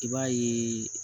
I b'a ye